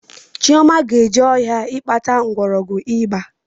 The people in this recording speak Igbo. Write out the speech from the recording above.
Chioma ga-eje ọhịa ịkpata mgbọrọgwụ iba